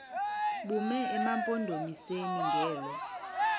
bume emampondomiseni ngelo